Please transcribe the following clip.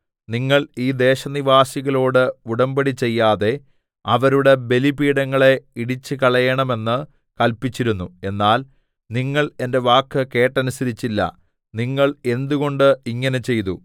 നിങ്ങൾ ഈ ദേശനിവാസികളോട് ഉടമ്പടി ചെയ്യാതെ അവരുടെ ബലിപീഠങ്ങളെ ഇടിച്ചുകളയേണമെന്ന് കല്പിച്ചിരുന്നു എന്നാൽ നിങ്ങൾ എന്റെ വാക്ക് കേട്ടനുസരിച്ചില്ല നിങ്ങൾ എന്തുകൊണ്ട് ഇങ്ങനെ ചെയ്തു